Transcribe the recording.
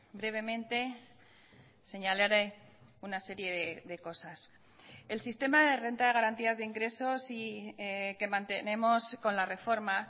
brevemente señalaré una serie de cosas el sistema de renta de garantías de ingresos que mantenemos con la reforma